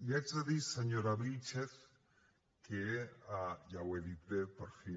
i haig de dir senyora vílchez que ja ho he dit bé per fi